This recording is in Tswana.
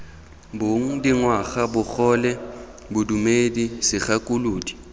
bong dingwaga bogole bodumedi segakolodi